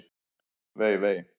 Vei, vei!